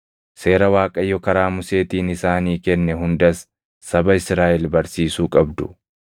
seera Waaqayyo karaa Museetiin isaanii kenne hundas saba Israaʼel barsiisuu qabdu.”